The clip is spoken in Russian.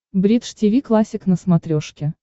бридж тиви классик на смотрешке